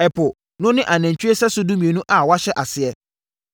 Ɛpo no ne anantwie sɛso dumienu a wɔhyɛ aseɛ,